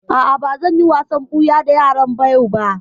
A'a, ba zan yi wasan ɓuya da yaran yau ba